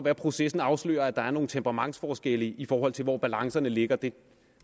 at processen afslører at der er nogle temperamentsforskelle i forhold til hvor balancerne ligger det